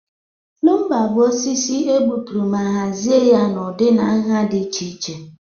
Lumba bụ osisi e gbuturu ma hazie ya n'ụdị na nha dị iche iche.